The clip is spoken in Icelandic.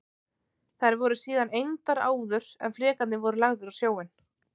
Þær voru síðan egndar áður en flekarnir voru lagðir á sjóinn.